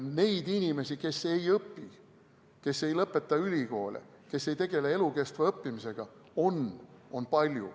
Neid inimesi, kes ei õpi, kes ei lõpeta ülikooli, kes ei tegele elukestva õppimisega, on palju.